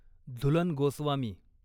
Jhulan Goswami